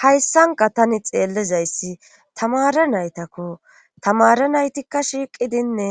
hayssanka tani xeellizayssi tamare naytakko tamare naytikka shiiqidinne